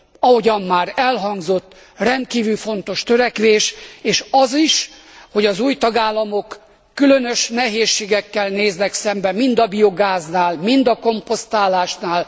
ahogyan már elhangzott rendkívül fontos törekvés, és az is, hogy az új tagállamok különös nehézségekkel néznek szembe mind a biogáznál, mind a komposztálásnál.